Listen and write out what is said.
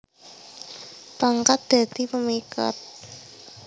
Pangkat dadi pemikat